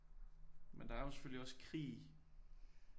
Men der er jo selvfølgelig også krig